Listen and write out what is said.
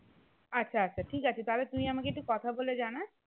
আচ্ছা আচ্ছা ঠিক আছে তাহলে তুই আমাকে একটু কথা বলে জানাস